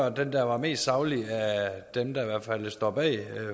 at den der var mest saglig af dem der i hvert fald står bag